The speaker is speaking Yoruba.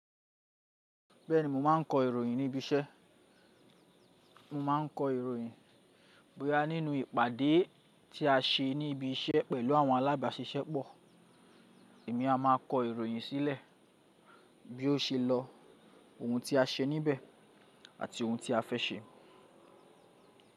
Bẹ́ẹ̀ni mo máa ń kọ ìròyìn ní ibi iṣẹ́. Mo máa ń kọ ìròyìn bí a nínú ìpàdé tí a ṣe ní ibi iṣẹ́ pẹ̀lú àwọn alábàáṣiṣẹ́pọ̀. Èmi a máa kọ ìròyìn sílẹ̀ bí ó ṣe lọ, ohun ti a ṣe níbẹ̀ àti ohun ti a fẹ́ ṣe.